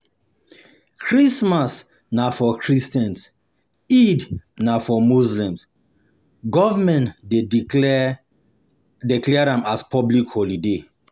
um Christmas na for christians Eid na for muslisms, government de declare declare am as public holiday um